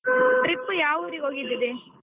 Trip ಯಾವ್ ಊರಿಗೆ ಹೋಗಿದ್ರಿ?